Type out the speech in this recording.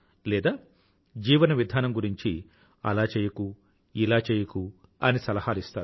లేదా జీవన విధానం గురించి అలా చెయ్యకు ఇలా చెయ్యకు అని సలహాలు ఇస్తారు